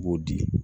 U b'o di